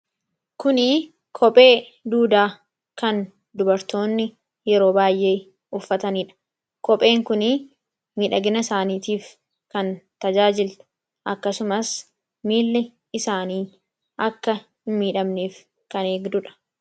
Kun kophee duudaa kan dubartoonni yeroo baayyee uffatanidha. Kopheen Kun miidhagina isaaniitiif kan tajaajilu akkasumas miilli isaanii akka hin miidhamneef kan eegdudha.